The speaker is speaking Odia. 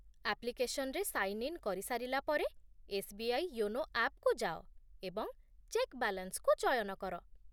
ଆପ୍ଲିକେସନ୍‌ରେ ସାଇନ୍ ଇନ୍ କରିସାରିଲା ପରେ, ଏସ୍.ବି.ଆଇ. ୟୋନୋ ଆପ୍‌କୁ ଯାଅ, ଏବଂ 'ଚେକ୍ ବାଲାନ୍ସ'କୁ ଚୟନ କର